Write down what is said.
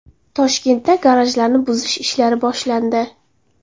Toshkentda garajlarni buzish ishlari boshlandi.